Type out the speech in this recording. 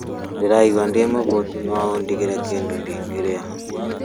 Ndĩraigua ndĩ mũhũtu no wandigĩra kĩndũ ingĩrĩa